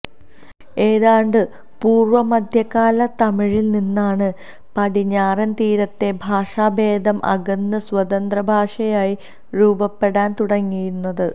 ഏതാണ്ട് പൂര്വ്വ മദ്ധ്യകാല തമിഴില് നിന്നാണ് പടിഞ്ഞാറന് തീരത്തെ ഭാഷാഭേദം അകന്ന് സ്വതന്ത്രഭാഷയായി രൂപപ്പെടാന് തുടങ്ങുന്നത്